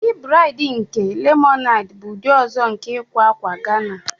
Ụdị braid nke lemonade bụ ụdị ọzọ nke ịkwa akwa Ghana.